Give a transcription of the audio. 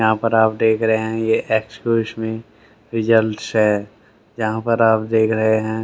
यहां पर आप देख रहे हैं ये एक्सक्यूज मी रिजल्ट है जहां पर आप देख रहे हैं।